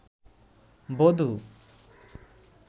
বধূ